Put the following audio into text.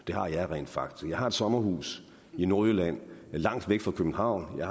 det har jeg rent faktisk jeg har et sommerhus i nordjylland langt væk fra københavn jeg